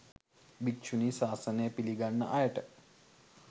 භික්‍ෂුණී ශාසනය පිළිගන්න අයට